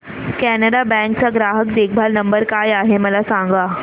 Canara bank चा ग्राहक देखभाल नंबर काय आहे मला सांगा